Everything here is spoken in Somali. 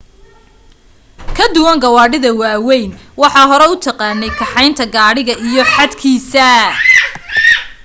ka duwan gawadhida waa weyn waxat hore u taqaney kaxeynta gadhigaga iyo xad kiisa